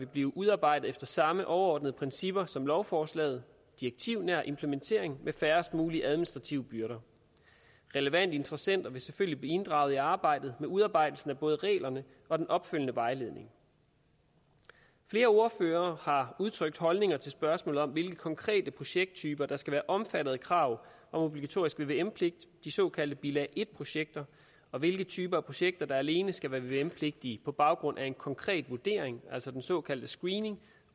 blive udarbejdet efter samme overordnede principper som lovforslaget direktivnær implementering med færrest mulige administrative byrder relevante interessenter vil selvfølgelig blive inddraget i arbejdet med udarbejdelsen af både reglerne og den opfølgende vejledning flere ordførere har udtrykt holdninger til spørgsmålet om hvilke konkrete projekttyper der skal være omfattet af krav om obligatorisk vvm pligt de såkaldte bilag en projekter og hvilke typer af projekter der alene skal være vvm pligtige på baggrund af en konkret vurdering altså den såkaldte screening